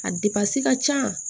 A ka can